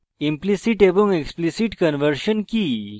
implicit এবং explicit conversion কি